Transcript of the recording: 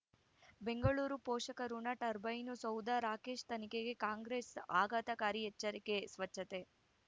ಬೆಂಗಳೂರು ಪೋಷಕರಋಣ ಟರ್ಬೈನು ಸೌಧ ರಾಕೇಶ್ ತನಿಖೆಗೆ ಕಾಂಗ್ರೆಸ್ ಆಘಾತಕಾರಿ ಎಚ್ಚರಿಕೆ ಸ್ವಚ್ಛತೆ